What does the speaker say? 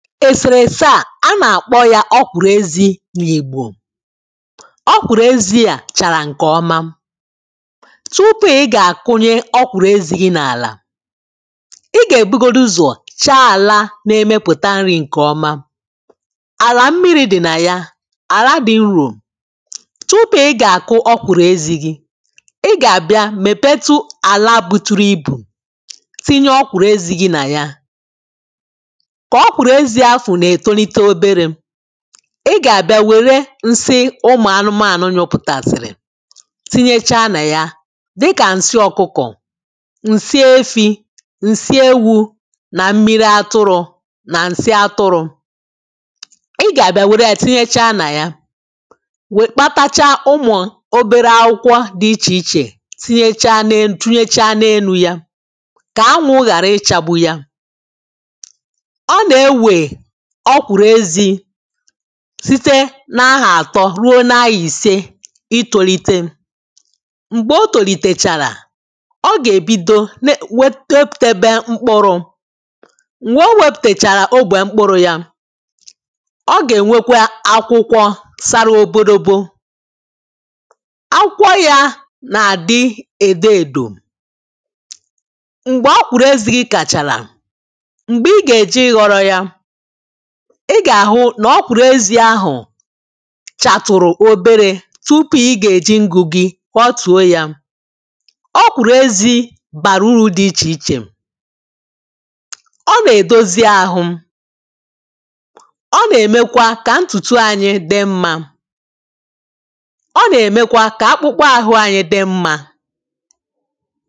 èsèrese à a nà-àkpọ ya ọ̀kwụ̀rụ̀ezi nʼìgbò ọ̀kwụ̀rụ̀ezi à chàrà ǹkè ọma tupu ị gà-àkụnye ọ̀kwụ̀rụ̀ezi gi nʼàlà ị gà-ebugodi ụzọ̀ chọọ àla nà-émépùtà ǹrí ǹkè ɔ́má àlà mmiri dì nà yà àlà dị urò tupu ị gà-àkụ ọ̀kwụ̀rụ̀ezi gi ị gà-àbịa mèpetu àlà buturu ibù tinye ọ̀kwụ̀rụezi gi nà ya ị gà-àbịa wère nsi ụmụ̀ anụmànụ nyụpụtàsìrì tinyechaa nà ya dịkà ǹsi ọ̀kụkọ̀ ǹsi efi̇ ǹsi ewu̇ nà mmiri atụrụ̇ nà ǹsi atụrụ̇ ị gà-àbịa wère ya tinyechaa nà ya wè kpatacha ụmụ̀ obere akwụkwọ dị ichè ichè tunyechaa nà-elu ya kà anwụ̇ ghàra ịchagbu ya ọ̀kwùrù ezi̇ site n’ahà àtọ ruo n’aii̇se itolite m̀gbè o tòlìtèchàrà ọ gà-èbido itopùta ebe mkpụrụ̇ m̀gbè o wepùtèchàrà ogbè mkpụrụ̇ ya ọ gà-ènwekwa akwụkwọ sara obodobo akwụkwọ̇ ya nà-àdị èdo èdò m̀gbè ọ kpùrù ezì gị kàchàrà m̀gbè ị gà-èji ị ghọrọ̇ ya ị gà-àhụ nà ọ̀pụ̀rụ̀ ezi ahụ̀ chàtụ̀rụ̀ obere tụpụ̀ ị gà-èji ǹgù gi kwa otùo ya ọ̀pụ̀rụ̀ ezi bàrà uru̇ dị ichè ichè ọ nà-edozi áhụ ọ nà-èmekwa kà ǹtùtù ànyị dị mmȧ ọ nà-èmekwa kà akpụkpọ ahụ anyị dị mmȧ